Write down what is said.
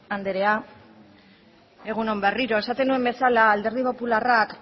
anderea egun on berriro esaten nuen bezala alderdi popularrak